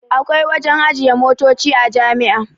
Akwai wajen ajiye motoci a jami'a